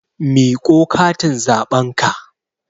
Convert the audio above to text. Miƙo katin zaɓen ka!